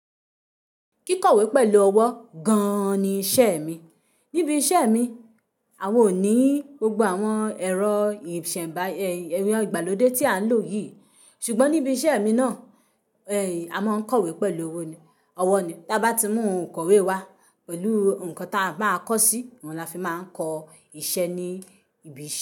Kíkọ̀wé pẹ̀lú ọwọ́ gan ni iṣẹ́ mi. Níbi iṣẹ́ mi, awò ní gbogbo àwọn ẹ̀rọ ìsẹ̀ǹba, ẹyin, ìgbàlódé tí à ń lò yìí. Ṣùgbọ́n níbi iṣẹ́ mi náà, ẹin a máa ń kọ̀wé pẹ̀lú owó ni, ọwọ́ ni. Tí a bá ti mú òǹkọ̀wé wá pẹ̀lú nǹkan ta máa kọ sí, òun lafi máa ń kọ iṣẹ́ ní ibi iṣi.